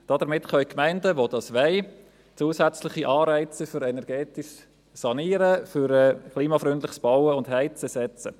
Damit können die Gemeinden, die dies wollen, zusätzliche Anreize für energetisches Sanieren, für klimafreundliches Bauen und Heizen setzen.